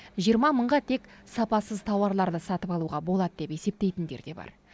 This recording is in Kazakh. жиырма мыңға тек сапасыз тауарларды сатып алуға болады деп есептейтіндер де бар